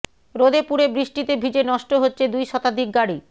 রোদে পুড়ে বৃষ্টিতে ভিজে নষ্ট হচ্ছে দুই শতাধিক গাড়ি